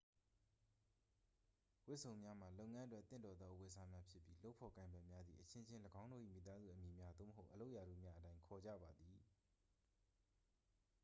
ဝတ်စုံများမှာ လုပ်ငန်းအတွက်သင့်တော်သောအဝတ်အစားများဖြစ်ပြီး လုပ်ဖော်ကိုင်ဖက်များသည် အချင်းချင်း ၎င်းတို့၏မိသားစုအမည်များ သို့မဟုတ် အလုပ်ရာထူးများအတိုင်း ခေါ်ကြပါသည်